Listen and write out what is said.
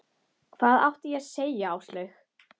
Hvað átti ég að segja Áslaugu?